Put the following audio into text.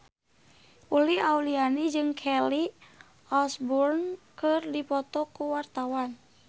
Uli Auliani jeung Kelly Osbourne keur dipoto ku wartawan